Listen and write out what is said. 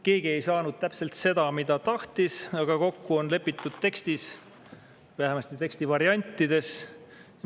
Keegi ei saanud täpselt seda, mida tahtis, aga kokku on lepitud tekstis, vähemasti teksti variantides.